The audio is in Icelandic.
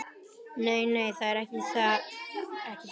Nei, nei, það er ekki það.